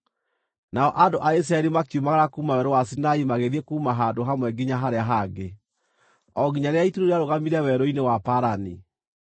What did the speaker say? Nao andũ a Isiraeli makiumagara kuuma Werũ wa Sinai magĩthiĩ kuuma handũ hamwe nginya harĩa hangĩ, o nginya rĩrĩa itu rĩu rĩarũgamire Werũ-inĩ wa Parani.